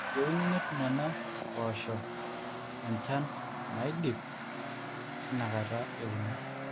eyieuni netum nena pooasho enjan naidip tinakata euno